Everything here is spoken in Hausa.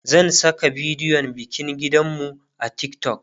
zan Saka bidiyon bikin gidan mu a TikTok